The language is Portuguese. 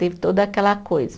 Teve toda aquela coisa.